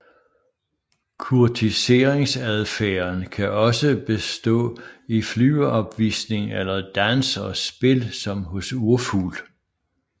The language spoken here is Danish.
Kurtiseringsadfærden kan også bestå i flyveopvisninger eller dans og spil som hos urfugl